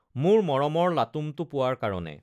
মোৰ মৰমৰ লাটুম টো পোৱাৰ কাৰণে!